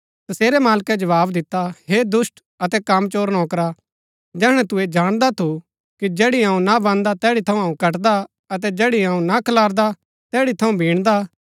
तसेरै मालकै जवाव दिता हे दुष्‍ट अतै कामचोर नौकरा जैहणै तू ऐह जाणदा थू कि जैड़ी अऊँ ना बान्दा तैड़ी थऊँ कटदा अतै जैड़ी अऊँ ना खलारदा तैड़ी थऊँ बिणदा